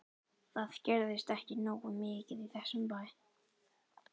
Það gerist ekki nógu mikið í þessum bæ.